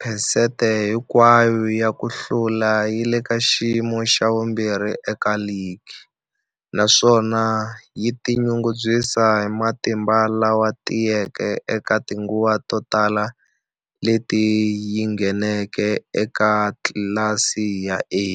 phesente hinkwayo ya ku hlula yi le ka xiyimo xa vumbirhi eka ligi, naswona yi tinyungubyisa hi matimba lama tiyeke eka tinguva to tala leti yi ngheneke eka tlilasi ya A.